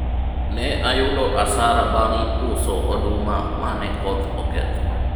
ne ayudo asara bang' uso oduma mane koth oketho